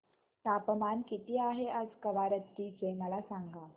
तापमान किती आहे आज कवारत्ती चे मला सांगा